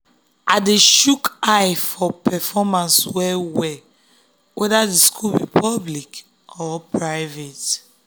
i dey chook eye for performance well-well whether the school be public or private.